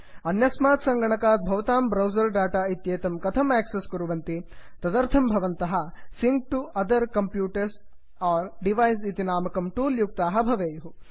अन्यस्मात् सङ्गणकात् भवतां ब्रौसर् डाटा इत्येतं कथम् आक्सस् कुर्वन्ति160 तदर्थं भवन्तः sync to other computers or device इति नामकं टूल् युक्ताः भवेयुः